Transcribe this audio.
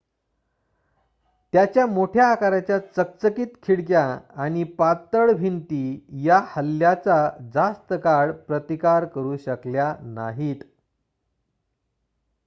त्याच्या मोठ्या आकाराच्या चकचकीत खिडक्या आणि पातळ भिंती या हल्ल्याचा जास्त काळ प्रतिकार करू शकल्या नाहीत